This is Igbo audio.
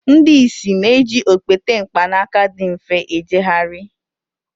ndị ìsì na-eji okpete mkpanaka dị mfe ijegharị